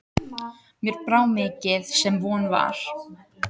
Mér brá mikið sem von var.